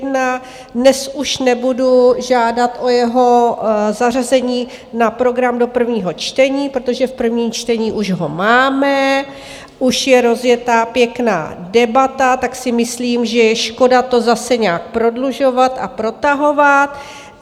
Dnes už nebudu žádat o jeho zařazení na program do prvního čtení, protože v prvním čtení už ho máme, už je rozjetá pěkná debata, tak si myslím, že je škoda to zase nějak prodlužovat a protahovat.